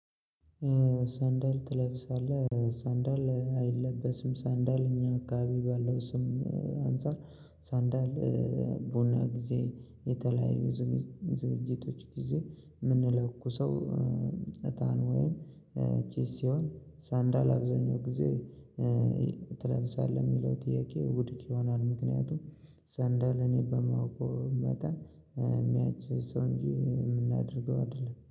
ሰንዳል ትለብሳለህ ሰንዳል አይለበስም ሰንዳል እኛ አካባቢ ባለው ስም አንፃር ሳንዳል። ቡና ጊዜ የተለያዩ ዝግጅቶች ጊዜ የምንለኩሰው እጣን ወይም ጭስ ሲሆን ሰንዳል አብዛኛው ጊዜ ትለብሳለህ የሚለው ጥያቄ ውድቅ ይሆናል። ምክንያቱም ሰንደል እኔ በማውቀው መጠን ምናጨሰው እንጂ የምናደርገው አይደለም